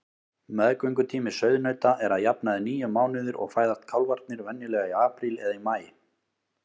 Meðgöngutími sauðnauta er að jafnaði níu mánuðir og fæðast kálfarnir venjulega í apríl eða maí.